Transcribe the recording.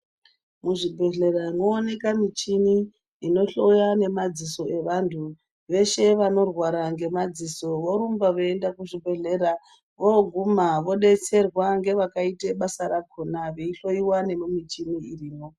Muzvibhehlera mwooneka michini inohloya nemadziso evanhu veshe vanorwara ngemadziso vorumba veienda kuzvibhehleya vooguma vodetserwa ngevakaite basa rakona veihloyiwa nemumichini irimwo.